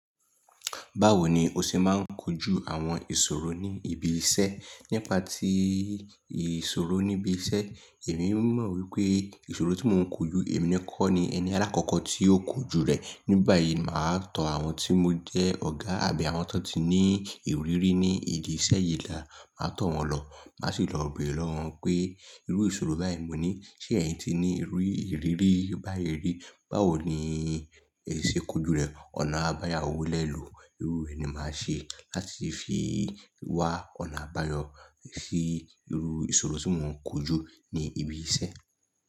Báwo ni o ṣe máa ń kojú àwọn ìṣòro ní ibi iṣẹ́? Nípa tí ìṣòro níbi iṣẹ́, èmi mọ̀ wípé ìṣòro tí mò ń kojú, èmi ni kọ́ ni ẹni alákọ̀kọ́ tí ó kojú rẹ̀. Nígbà yìí máa tó àwọn tí mo jẹ́ ọ̀gá àbí àwọn tó ti ní ìrírí ní ìdí iṣẹ́ yìí là máa tó wọn lọ. Má sì lọ bèrè lọ́wọ́ wọn pé irú ìṣòro báyìí mo ní, ṣe ẹ̀yin ti ní irú ìrírí báyìí rí? Báwo ni ẹ ṣe kojú rẹ̀? Ọ̀nà àbáyọ wólẹ̀ lọ. Irú rẹ̀ ni màá ṣe láti fi wá ọ̀nà àbáyọ si iru ìṣòro tí mò ń kojú ní ibi iṣẹ́.